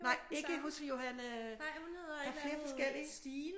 Nej ikke hos Johanne der er flere forskellige